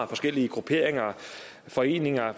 forskellige grupperinger foreninger og